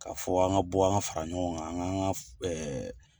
Ka fɔ an ka bɔ an fara ɲɔgɔn kan, an ka